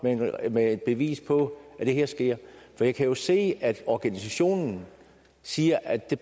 med et bevis på at det her sker for jeg kan jo se at organisationen siger at det